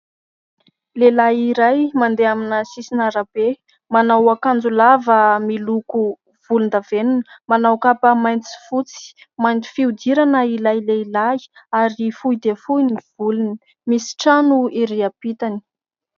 Lehilahy iray mandeha amina sisin'arabe manao akanjolava miloko volon-davenina manao kapa mainty, fotsy. Mainty fihodirana ilay lehilahy ary fohy dia fohy ny volony; misy trano ery ampitany.